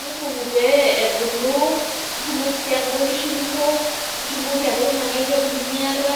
iibung pee ebulu, nitumoki sii anoto nkishu kumok, nitumoki sii anoto inankae peku nimiata,